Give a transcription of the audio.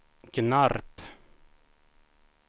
Gnarp